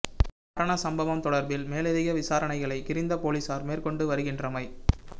இவ் மரண சம்பவம் தொடர்பில் மேலதிக விசாரணைகளை கிரிந்த பொலிஸார் மேற்கொண்டு வருகின்றமை